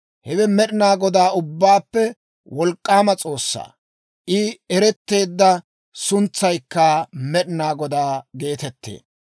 Hewe Med'inaa Godaa, Ubbaappe Wolk'k'aama S'oossaa. I eretteedda suntsaykka Med'inaa Godaa geetettee.